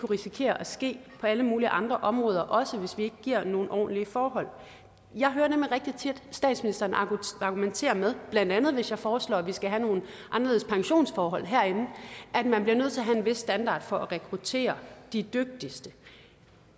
risikere at ske på alle mulige andre områder også hvis vi ikke giver nogle ordentlige forhold jeg hører nemlig rigtig tit statsministeren argumentere med blandt andet hvis jeg foreslår at vi skal have nogle anderledes pensionsforhold herinde at man bliver nødt til at have en vis standard for at rekruttere de dygtigste